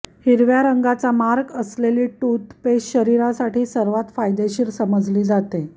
हिरव्या रंगाचा मार्क असेलली टूथपेस्ट शरीरासाठी सर्वात फायदेशीर समजली जाते